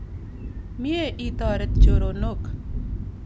Mye itoret choronok.